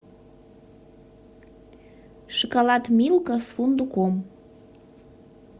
шоколад милка с фундуком